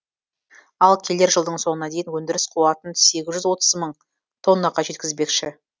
ал келер жылдың соңына дейін өндіріс қуатын сегіз жүз отыз мың тоннаға жеткізбекші